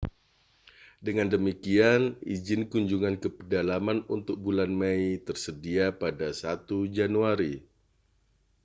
dengan demikian izin kunjungan ke pedalaman untuk bulan mei tersedia pada 1 januari